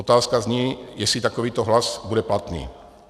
Otázka zní, jestli takovýto hlas bude platný.